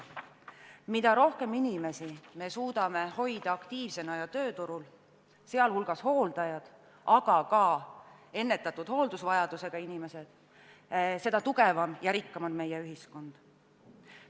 Mida rohkem inimesi me suudame hoida aktiivsena ja tööturul – sh hooldajad, aga ka ennetatud hooldusvajadusega inimesed –, seda tugevam ja rikkam on meie ühiskond.